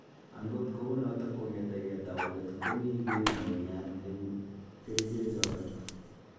Angot kou noto, kong'etegei taunet ko mi gii neunyat eng kericheek chotok